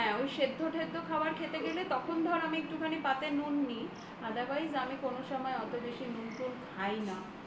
হ্যাঁ ঐ সেদ্ধ টেদ্ধ খাবার খেতে গেলে তখন আমি একটু পাতে নুন নি otherwise আমি কোন সময়েই অত বেশি নুন খাই না